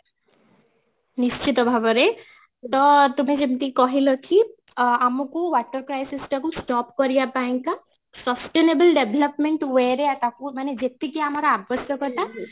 ନିଶ୍ଚିତ ଭାବରେ, ତ ତେବେ ଯେମିତି କହିଲ କି ଅ ଆମକୁ water crisis ଟାକୁ stop କରିବା ପାଇଁ କା sustainable development way ରେ ୟାକୁ ମାନେ ଯେତିକି ଆମର ଆବଶ୍ୟକତା